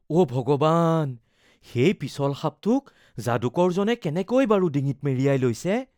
অ’ ভগৱান, সেই পিছল সাপটোক যাদুকৰজনে কেনেকৈ বাৰু ডিঙিত মেৰিয়াই লৈছে ?